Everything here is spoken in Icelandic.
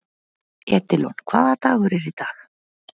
Edílon, hvaða dagur er í dag?